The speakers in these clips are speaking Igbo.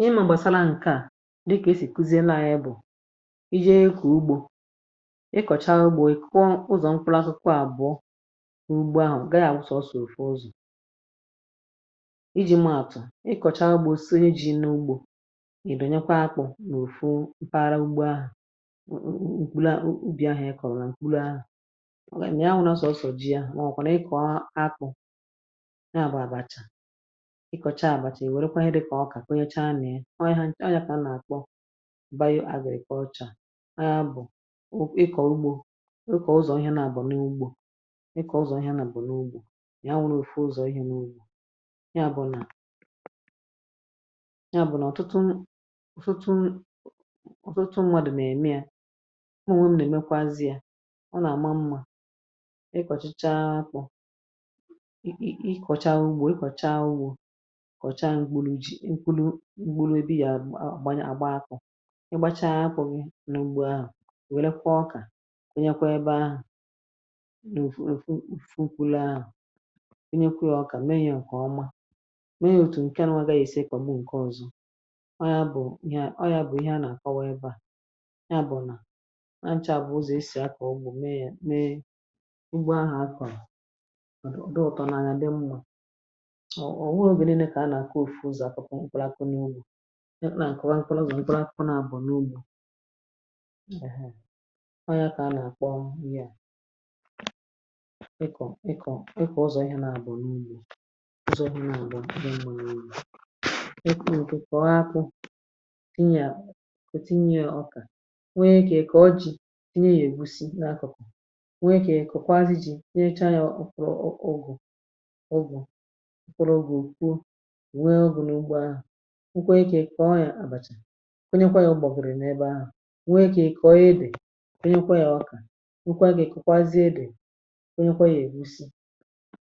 Ihe m̀ àgbàsara ǹkè a dịkà, e sì kuzi ena ahịa—bụ̀ ije ịkọ̀ ugbȯ, ịkọ̀cha ugbȯ, ịkọ̀ ụzọ̀ mkpụlȧsụkwụ àbụ̀ọ n’ugbo ahụ̀. Gaa yȧ nsọ̇ òsò òzù iji̇ maàtụ̀ ịkọ̀cha ugbȯ. Di onye ji̇ n’ugbȯ ịbè, nyekwa akpụ̇ n’òfù mpaghara ugbo ahụ̀. Ǹkwùla ubì ahụ̀ ịkọ̀rọ̀, ǹkwùla ahụ̀ màgà èm ya nwụrụ — sọsọ ji yȧ. Mà ọ̀ kwàrà ịkọ̀a akpụ̇, ị kọcha àbàchà ì. Wèrekwa ihe dị kà ọkà kọnyechaa nà ya. Ọ wèrekwa nà àkpọ bayȧ àgà èke ọcha. Ya bụ̀ ịkọ̀ ugbȯ, rukọ̀ ụzọ̀ ihẹ na-abà n’ugbȯ. Ịkọ̀ ụzọ̀ ihẹ nà bụ̀ n’ugbȯ ya bụ̀ nà ọtụtụ ndị, ọ̀tụtụ. Nwȧdụ̀ m̀ ème ya, ọ nà èmekwa zi̇ ya. Ọ nà àma mmȧ. Ị kọ̀chicha apọ̀, kọ̀chaa mkpụrụ. Jị̀ nkwụlụ mkpụrụ ebe ya àgba. Akwụ̇ ịgbacha apụ̀ gị n’ogbo ahụ̀. Wèle, kwụọ ọkà onye kwa ebe ahụ̀. N’ofu ofu ukwụlụ ahụ̀ onye kwa ọka. Mee ihe ǹkè ọma. Mee ihe òtù ǹke anụwagȧghị̀. Esè ekọmi ǹke ọ̀zọ ọ ya bụ̀ ihe a, ọ ya bụ̀ ihe a nà-àkọwa. Ebe à ya bụ̀ nà nà e nchà bụ̀ ụzọ̀ esì akọ̀ọgbọ̀ mee ya, mee ugbo ahụ̀ akwà. Ọ wụrụ obere n’ịkọ̀, ịkọ̀, ịkọ̀ ụzọ̀ akọ̀kọ̀ n’ụlọ̀. Ịkọ̀ akọ̀kọ n’ụlọ̀, ịkọ̀ ụzọ̀ ụlọ̀. Ndị nwèrè ụlọ̀ ịkọ̀, kòtinye ọkà. Wee kà e kòkwa o ji ị nà ya egusi n’akọ̀kọ̀. Wee kà e kòkwa azụ ji nyerecha. Ọ̀ bụrụ ugwù ǹwee ogu̇ n’ụgbọ̇ ahụ̀. Nkwee ikė kọ̀ọ ya àbàchà onye kwa yȧ. Ụ̀gbọ̀bụ̀rụ̀ n’ebe ahụ̀, nwee ikė kọ̀ọ ya edè. Kwenye kwa ya ọkà nkwa, gà èkụkwazie edè kwenye kwa ya ègusi.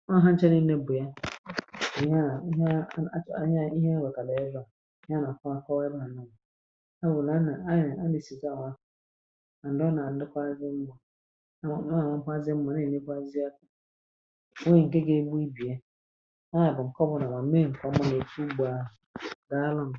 Ọ ọ̀ ha chenye n’ebù ya? Ànyi ya ihe a wàkàlà ezȧ ya. Nà àkwà akọ̀ọ ebe à nà à bụ̀ nà a nà a nà è si kawàna. Ọ nà ànàkwa azị mbu̇ a. Nà ànwà kwazi mmȧ nà ènye gbazịa. Nwee ǹke ga ebu ibìe dị alụm.